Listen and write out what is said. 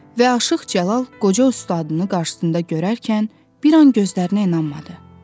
Və Aşıq Cəlal qoca ustadını qarşısında görərkən, bir an gözlərinə inanmadı.